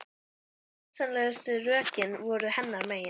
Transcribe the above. Öll skynsamlegu rökin voru hennar megin.